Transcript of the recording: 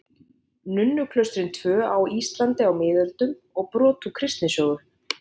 Nunnuklaustrin tvö á Íslandi á miðöldum og brot úr kristnisögu.